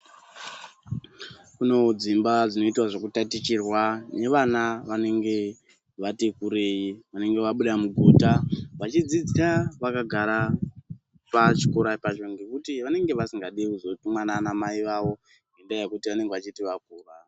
Kune dzimba dzinoita zvekutatichirwa nevana vanenge vati kurei vanenge vabuda mugota. Vachidzidziswa vakagara pachikora pacho ngekuti vanenge vasingadi kuzotumwa nanamai vavo, nendaa yekuti vanenge vachiti vakura.